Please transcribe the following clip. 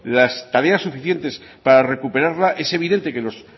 las tareas suficientes para recuperarla es evidente que los